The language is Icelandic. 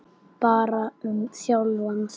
Bara um sjálfan sig.